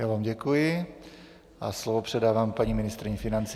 Já vám děkuji a slovo předávám paní ministryni financí.